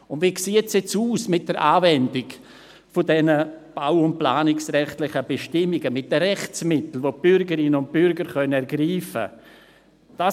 Aber wie sieht es nun aus mit diesen bau- und planungsrechtliche Bestimmungen, mit den Rechtsmitteln, welche die Bürgerinnen und Bürger ergreifen können?